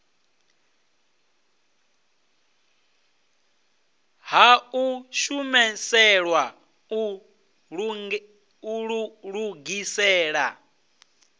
ha u shumiselwa u lugisela